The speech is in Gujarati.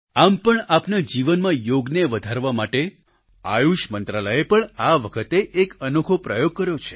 આમ પણ આપના જીવનમાં યોગને વધારવા માટે આયુષ મંત્રાલયે પણ આ વખતે એક અનોખો પ્રયોગ કર્યો છે